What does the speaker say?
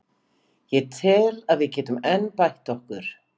Ég tel að við getum enn bætt okkur.